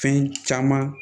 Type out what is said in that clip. Fɛn caman